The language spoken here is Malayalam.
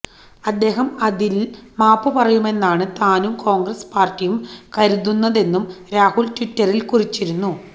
അദ്ദേഹം അതില് മാപ്പുപറയുമെന്നാണ് താനും കോണ്ഗ്രസ് പാര്ട്ടിയും കരുതുന്നതെന്നും രാഹുല് ട്വിറ്ററില് കുറിച്ചിരുന്നു